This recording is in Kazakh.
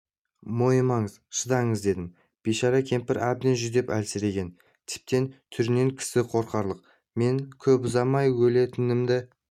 мойымаңыз шыдаңыз дедім бейшара кемпір әбден жүдеп әлсіреген тіптен түрінен кісі қорқарлық мен көп ұзамай өлетінімді